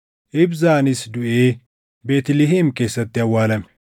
Ibzaanis duʼee Beetlihem keessatti awwaalame.